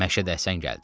Məşədi Həsən gəldi.